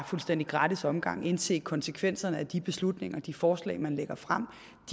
fuldstændig gratis omgang og indse konsekvenserne af de beslutninger og de forslag man lægger frem